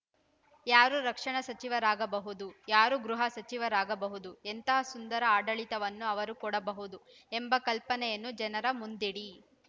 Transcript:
ಯಾರು ರಕ್ಷಣಾ ಸಚಿವರಾಗಬಹುದು ಯಾರು ಗೃಹ ಸಚಿವರಾಗಬಹುದು ಎಂಥ ಸುಂದರ ಆಡಳಿತವನ್ನು ಅವರು ಕೊಡಬಹುದು ಎಂಬ ಕಲ್ಪನೆಯನ್ನು ಜನರ ಮುಂದಿಡಿ